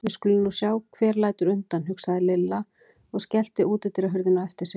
Við skulum nú sjá hver lætur undan, hugsaði Lilla og skellti útidyrahurðinni á eftir sér.